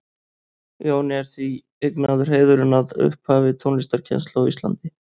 Jóni er því eignaður heiðurinn að upphafi tónlistarkennslu á Íslandi.